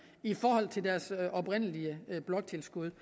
i forhold til deres oprindelige bloktilskud